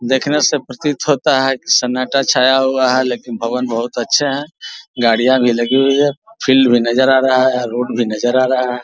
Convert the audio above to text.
देखने से प्रतीत होता हैकि सन्नाटा छाया हुआ है लेकिन भवन बहुत अच्छे है गाड़ियाँ भी लगी हुई है फील्ड भी नज़र आ रहा है रोड भी नज़र आ रहा है ।